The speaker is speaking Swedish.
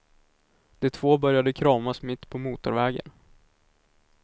De två började kramas mitt på motorvägen.